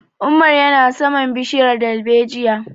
Umar ya na saman bishiyar dalbejiya